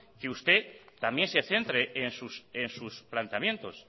que usted también se centre en sus planteamientos